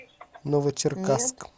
новочеркасск